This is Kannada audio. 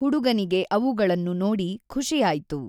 ಹುಡುಗನಿಗೆ ಅವುಗಳನ್ನು ನೋಡಿ ಖಷಿಯಾಯ್ತು.